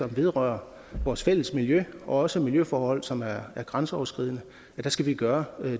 vedrører vores fælles miljø og også miljøforhold som er grænseoverskridende skal vi gøre